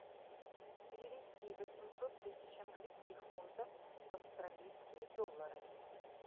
перевести восемьсот тысяч английских фунтов в австралийские доллары